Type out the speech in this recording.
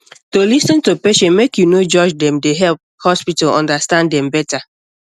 to lis ten to patient make you no judge dem dey help hospital understand dem better